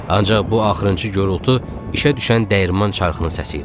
Ancaq bu axırıncı gurultu işə düşən dəyirman çarxının səsi idi.